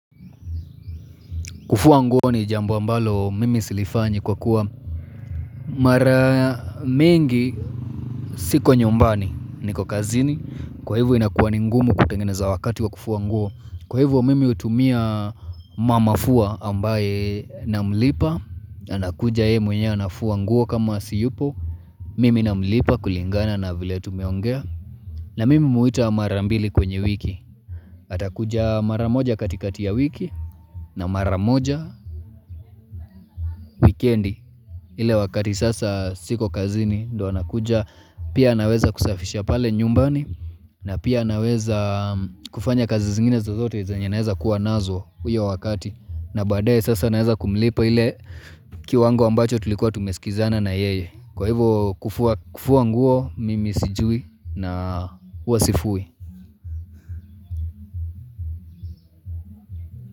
Kufua nguo ni jambo ambalo mimi silifanyi kwa kuwa mara mingi siko nyumbani niko kazini. Kwa hivo inakuwa ni ngumu kutengeneza wakati wa kufua nguo Kwa hivyo mimi hutumia mamafua ambaye na mlipa na anakuja yeye mwenyewe anafua nguo kama siyupo Mimi namlipa kulingana na vile tumeongea na mimi humwita mara mbili kwenye wiki atakuja mara moja katikati ya wiki na mara moja wikendi. Ile wakati sasa siko kazini ndio anakuja pia anaweza kusafisha pale nyumbani na pia anaweza kufanya kazi zingine zozote zenye naeza kuwa nazo hiyo wakati na baadaye sasa naeza kumlipa ile kiwango ambacho tulikuwa tumesikizana na yeye. Kwa hivyo kufua nguo mimi sijui na huwa sifui.